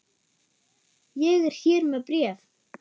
Ég er hér með bréf!